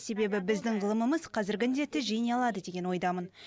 себебі біздің ғылымымыз қазіргі індетті жеңе алады деген ойдамын